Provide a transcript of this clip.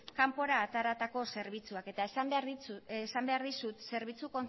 kanpora ateratako zerbitzuak eta esan behar dizut zerbitzu